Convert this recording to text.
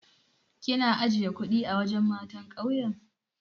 Kina ajiye kuɗi a wajen matan ƙauyen?